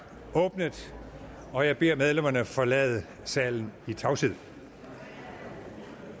åbnet og jeg beder medlemmerne om at forlade salen i tavshed